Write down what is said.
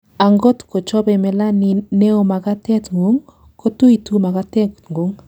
angot ko chobei melanin neo makatet ngung, kotuitu makatet ngung